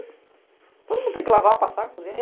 Todo mundo tem que lavar, passar, cozinhar.